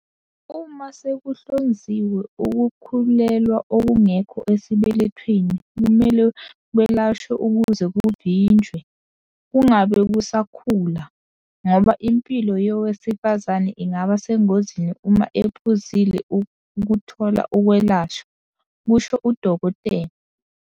"Uma sekuhlonziwe ukukhulelwa okungekho esibelethweni kumele kwelashwe ukuze kuvinjwe, kungabe kusakhula, ngoba impilo yowesifazane ingaba sengozini uma ephuzile ukuthola ukwelashwa," kusho uDkt.